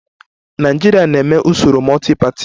Nigeria na-eme usoro multi-party